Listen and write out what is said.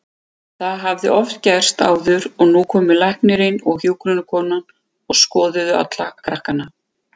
Það hafði oft gerst áður og nú komu læknirinn og hjúkrunarkonan og skoðuðu alla krakkana.